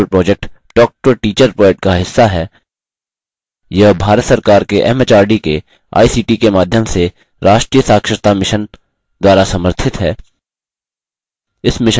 spoken tutorial project talktoa teacher project का हिस्सा है यह भारत सरकार के एमएचआरडी के आईसीटी के माध्यम से राष्ट्रीय साक्षरता mission द्वारा समर्थित है